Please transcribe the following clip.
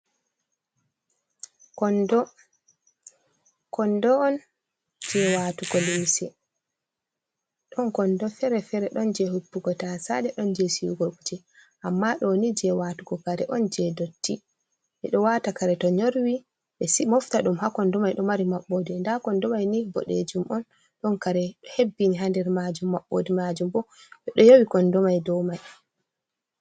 Kondo, kondo'on je watugo lumse. Ɗon kondo Fere fere ɗon je hippugo tasaje ɗon je Sigugo kuje, amma ɗoni je watugo kare'on je dotti. Ɓeɗo wata kare to nyorwi ɓe si ɓe mofta ɗum ha Kondomai ɗo mari Mabɓode. Nda kondomai ni boɗejum'on ɗondo hebbini ha nder majum Mabɓode majum bo ɓe ɗo yowi Kondomai dou mai.